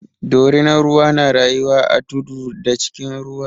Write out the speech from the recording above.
Dorinan ruwa na rayuwa a tudu da cikin ruwa.